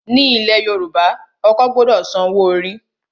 Ní ilẹ̀ Yorùbá, ọkọ gbọdọ san owó orí.